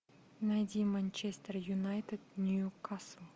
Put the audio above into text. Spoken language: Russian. найди манчестер юнайтед ньюкасл